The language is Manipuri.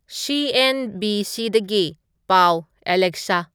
ꯁꯤ.ꯑꯦꯟ.ꯕꯤ.ꯁꯤꯗꯒꯤ ꯄꯥꯎ ꯑꯂꯦꯛꯁꯁꯥ